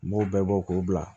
N b'o bɛɛ bɔ k'o bila